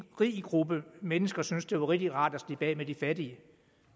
gruppe rige mennesker syntes det var rigtig rart at slippe af med de fattige